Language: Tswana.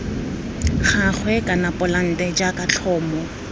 gagwe kana polante jaaka tlhomo